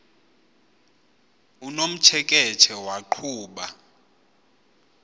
unomtsheke tshe waqhuba